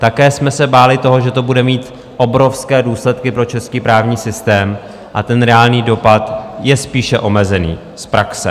Také jsme se báli toho, že to bude mít obrovské důsledky pro český právní systém, a ten reálný dopad je spíše omezený z praxe.